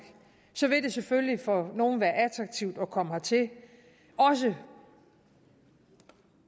så vil det selvfølgelig for nogle være attraktivt at komme hertil også